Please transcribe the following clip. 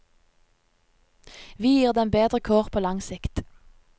Vi gir dem bedre kår på lang sikt.